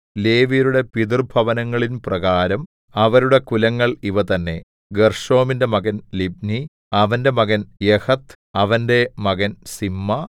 ലേവ്യരുടെ പിതൃഭവനങ്ങളിൻപ്രകാരം അവരുടെ കുലങ്ങൾ ഇവ തന്നേ ഗെർശോമിന്റെ മകൻ ലിബ്നി അവന്റെ മകൻ യഹത്ത് അവന്റെ മകൻ സിമ്മാ